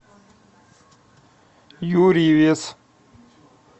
юрьевец